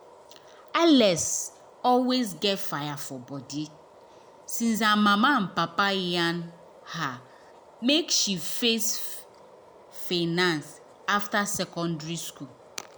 alex always get fire for body since her mama and papa yarn her make she face finance after secondary school.